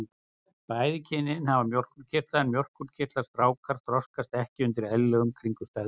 Bæði kynin hafa mjólkurkirtla en mjólkurkirtlar stráka þroskast ekki undir eðlilegum kringumstæðum.